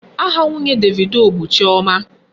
Aha nwunye Davido bụ Chioma.